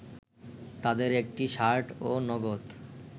তাদের একটি শার্ট ও নগদ